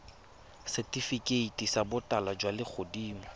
setifikeiti sa botala jwa legodimo